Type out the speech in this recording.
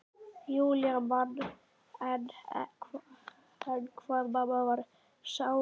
Júlía man enn hvað mamma varð sárreið.